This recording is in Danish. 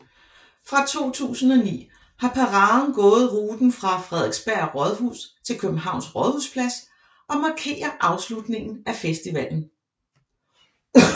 Fra 2009 har paraden gået ruten fra Frederiksberg Rådhus til Københavns Rådhusplads og markerer afslutningen af festivalen